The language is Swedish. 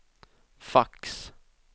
fax